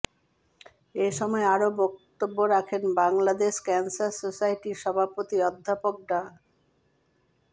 এ সময় আরো বক্তব্য রাখেন বাংলাদেশ ক্যান্সার সোসাইটির সভাপতি অধ্যাপক ডা